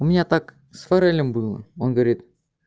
у меня так с форелем было он говорит